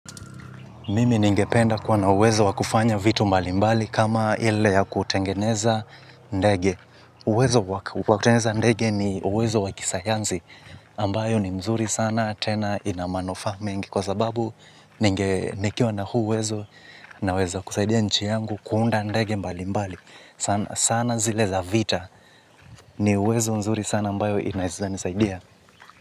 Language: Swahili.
Mimi ningependa kuwa na uwezo wakufanya vitu mbali mbali kama ile ya kutengeneza ndege. Uwezo wa kisayanzi ambayo ni mzuri sana tena ina manufa mengi kwa sababu nikiwa na huu uwezo naweza kusaidia nchi yangu kuunda ndege mbali mbali. Sana zile za vita ni uwezo mzuri sana ambayo inaeza nisaidia.